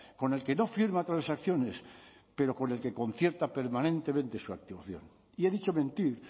con el que no firma transacciones pero con el que concierta permanentemente su activación y he dicho mentir